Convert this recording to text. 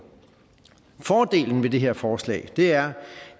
fordelen ved det her forslag er